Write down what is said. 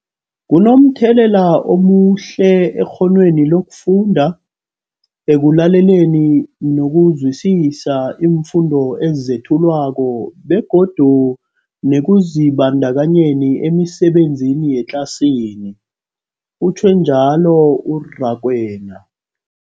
Kunomthelela omuhle ekghonweni lokufunda, ekulaleleni nokuzwisiswa iimfundo ezethulwako begodu nekuzibandakanyeni emisebenzini yangetlasini, utjhwe njalo u-Rakwena.